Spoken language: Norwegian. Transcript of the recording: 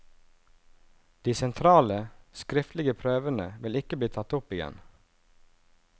De sentrale, skriftlige prøvene vil ikke bli tatt opp igjen.